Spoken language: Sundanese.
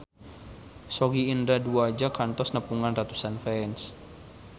Sogi Indra Duaja kantos nepungan ratusan fans